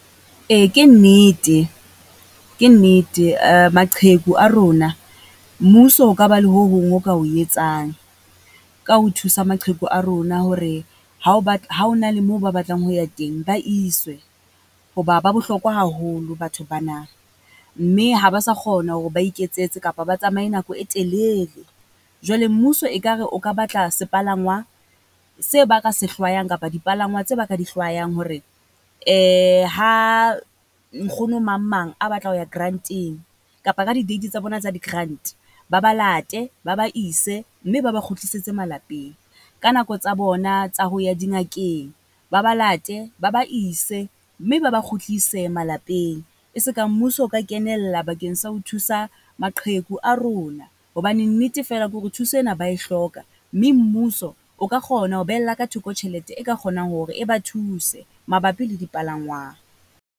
Ee ke nnete, ke nnete maqheku a rona mmuso ho ka ba le ho hong ho ka o etsang, ka ho thusa maqheku a rona. Hore ha o ba, ha ho na le mo ba batlang ho ya teng ba iswe, ho ba ba bohlokwa haholo batho ba na. Mme ha ba sa kgona hore ba iketsetse kapa ba tsamaye nako e telele. Jwale mmuso ekare o ka batla sepalangwa se ba se hlwayang kapa dipalangwa tse ba ka di hlwayang hore ha nkgono mang mang a batla ho ya grant-eng kapa ka di-date tsa bona tsa di-grant. Ba ba late, ba ba ise, mme ba ba kgutlisetse malapeng ka nako tsa bona tsa ho ya di ngakeng ba ba late ba ba ise mme ba ba kgutlise malapeng. E se ka mmuso o ka kenella bakeng sa ho thusa maqheku a rona. Hobane nnete feela kore thuse ena ba e hloka, mme mmuso o ka kgona ho behella ka thoko tjhelete e ka kgonang hore e ba thuse, mabapi le dipalangwang.